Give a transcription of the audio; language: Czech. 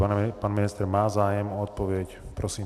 Pan ministr má zájem o odpověď. Prosím.